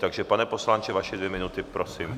Takže pane poslanče, vaše dvě minuty, prosím.